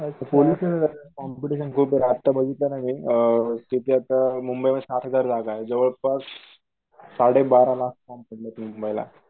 police competition खूपे आता बघितलं ना मी तिथल्या अअ मुंबई मध्ये सात हजार जागाये जवळपास साडेबारा लाख फॉर्म मुंबईला